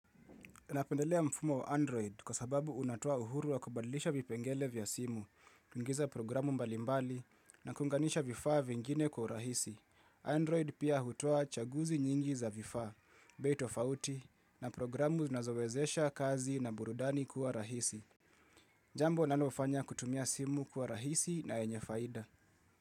Napendelea mfumo wa Android kwa sababu unatoa uhuru wa kubadlisha vipengele vya simu, kuingiza programu mbalimbali na kuunganisha vifaa vingine kwa rahisi. Android pia hutoa chaguzi nyingi za vifaa, bei tofauti na programu zinazowezesha kazi na burudani kuwa rahisi. Jambo nalofanya kutumia simu kuwa rahisi na yenye faida.